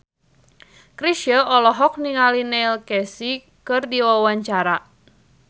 Chrisye olohok ningali Neil Casey keur diwawancara